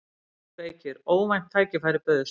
JÓN BEYKIR: Óvænt tækifæri bauðst.